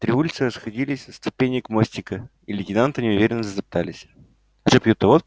три улицы расходились от ступенек мостика и лейтенанты неуверенно затоптались